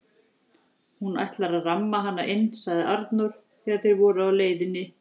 Hún ætlar að ramma hana inn, sagði Arnór þegar þeir voru á leiðinni til